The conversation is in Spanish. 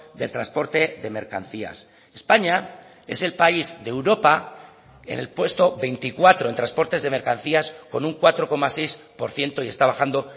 del transporte de mercancías españa es el país de europa en el puesto veinticuatro en transportes de mercancías con un cuatro coma seis por ciento y está bajando